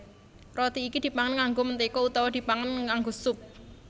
Roti iki dipangan nganggo mentéga utawa dipangan nganggo sup